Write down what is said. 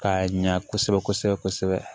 K'a ɲa kosɛbɛ kosɛbɛ kosɛbɛ